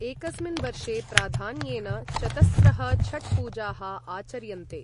एकस्मिन् वर्षे प्राधान्येन चतस्रः छठ् पूजाः आचर्यन्ते।